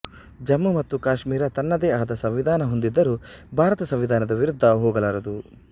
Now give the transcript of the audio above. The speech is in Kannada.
ಜಮ್ಮು ಮತ್ತು ಕಾಶ್ಮೀರ ತನ್ನದೇ ಆದ ಸಂವಿಧಾನ ಹೂಂದಿದ್ದರೂ ಭಾರತ ಸಂವಿಧಾನದ ವಿರುದ್ದ ಹೋಗಲಾರದು